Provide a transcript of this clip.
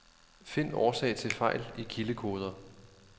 Find årsag til fejl i kildekoder.